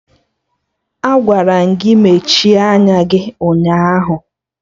Agwara m gị mechie anya gị ụnyaahụ!